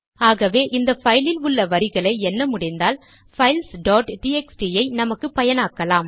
ஆகவே இந்த பைலில் உள்ள வரிகளை எண்ண முடிந்தால் பைல்ஸ் டாட் டிஎக்ஸ்டி ஐ நமக்கு பயனாக்கலாம்